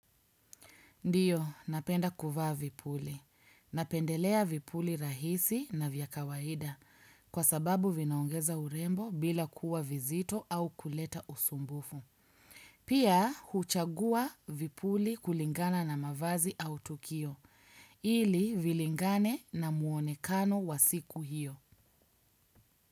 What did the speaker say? Ndio, napenda kuvaa vipuli. Napendelea vipuli rahisi na vya kawaida, kwa sababu vinaongeza urembo bila kuwa vizito au kuleta usumbufu. Pia, huchagua vipuli kulingana na mavazi au tukio, ili vilingane na muonekano wa siku hiyo.